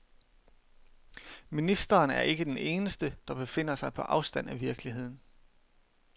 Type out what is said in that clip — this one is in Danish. Ministeren er ikke den eneste, der befinder sig på afstand af virkeligheden.